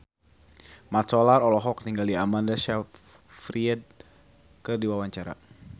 Mat Solar olohok ningali Amanda Sayfried keur diwawancara